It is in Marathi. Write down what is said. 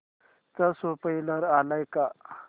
चा स्पोईलर आलाय का